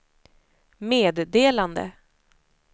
meddelande